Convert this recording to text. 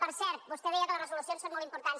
per cert vostè deia que les resolucions són molt importants